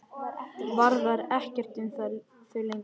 Varðar ekkert um þau lengur.